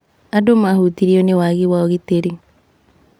Andũ mahutirio nĩ wagi wa ũgitĩri.